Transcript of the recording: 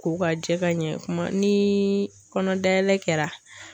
Ko ka jɛ ka ɲɛ kuma ni kɔnɔ dayɛlɛ kɛra.